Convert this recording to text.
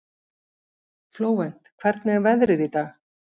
Flóvent, hvernig er veðrið í dag?